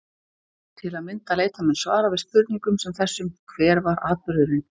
Til að mynda leita menn svara við spurningum sem þessum: Hver var atburðurinn?